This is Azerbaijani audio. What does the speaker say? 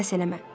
Səmimi.